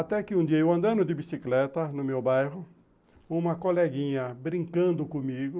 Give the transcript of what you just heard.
Até que um dia eu andando de bicicleta no meu bairro, uma coleguinha brincando comigo,